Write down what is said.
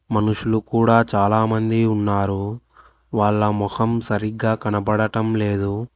మనుషులు కూడా చాలామంది ఉన్నారు వాళ్ళ మొహం సరిగ్గా కనబడటం లేదు.